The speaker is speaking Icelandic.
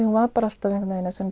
hún var alltaf einhvern veginn þar sem